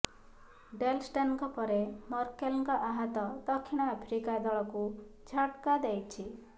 Dell ଷ୍ଟେନ୍ଙ୍କ ପରେ ମର୍କେଲଙ୍କ ଆହତ ଦକ୍ଷିଣ ଆଫ୍ରିକା ଦଳକୁ ଝଟ୍କା ଦେଇଛି